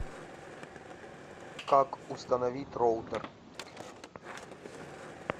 как установить роутер